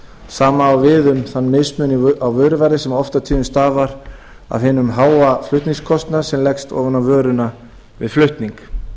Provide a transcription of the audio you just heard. sama á við um þann mismun á vöruverði sem oft á tíðum stafar af hinum háa flutningskostnaði sem leggst ofan á vöruna við flutning